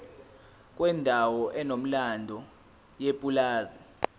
kwendawo enomlando yepulazi